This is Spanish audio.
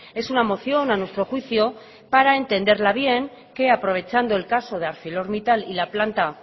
es una moción a nuestro juicio para entenderla bien que aprovechando el caso de arcelormittal y la planta